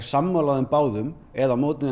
sammála þeim báðum eða á móti